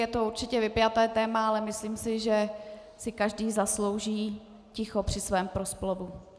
Je to určitě vypjaté téma, ale myslím si, že si každý zaslouží ticho při svém proslovu.